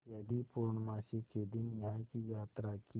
यदि पूर्णमासी के दिन यहाँ की यात्रा की